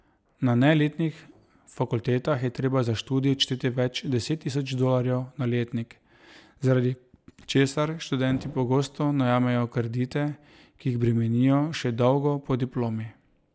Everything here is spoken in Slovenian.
Na neelitnih fakultetah je treba za študij odšteti več deset tisoč dolarjev na letnik, zaradi česar študenti pogosto najemajo kredite, ki jih bremenijo še dolgo po diplomi.